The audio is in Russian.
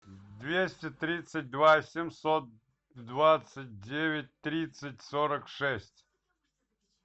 двести тридцать два семьсот двадцать девять тридцать сорок шесть